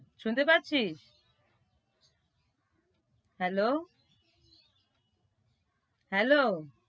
শুনতে পারছিস? hello, hello